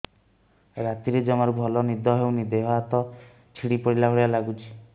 ରାତିରେ ଜମାରୁ ଭଲ ନିଦ ହଉନି ଦେହ ହାତ ଛିଡି ପଡିଲା ଭଳିଆ ଲାଗୁଚି